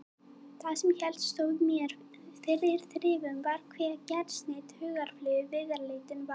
Það sem helst stóð mér fyrir þrifum var hve gersneydd hugarflugi viðleitnin var.